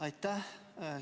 Aitäh!